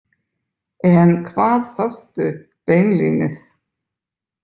En hvað sástu beinlínis?